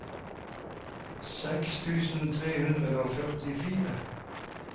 seks tusen tre hundre og førtifire